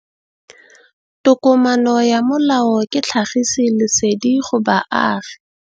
Tokomane ya molao ke tlhagisi lesedi go baagi.